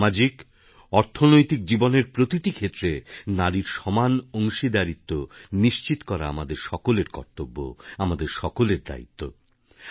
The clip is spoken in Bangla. আজ সামাজিক অর্থনৈতিক জীবনের প্রতিটি ক্ষেত্রে নারীর সমান অংশীদারীত্ব নিশ্চিত করা আমাদের সকলের কর্তব্য আমাদের সকলের দায়িত্ব